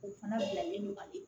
O fana bilalen don a ye